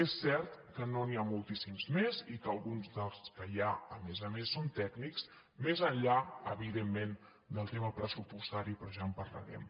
és cert que no n’hi ha moltíssims més i que alguns dels que hi ha a més a més són tècnics més enllà evidentment del tema pressupostari però ja en parlarem